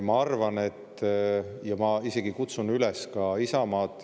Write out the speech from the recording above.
Ma arvan ja ma isegi kutsun üles ka Isamaad …